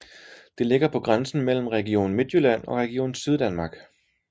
Det ligger på grænsen mellem Region Midtjylland og Region Syddanmark